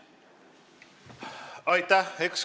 Aitäh!